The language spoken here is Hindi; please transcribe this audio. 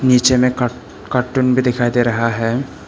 नीचे में कार्टून भी दिखाई दे रहा है।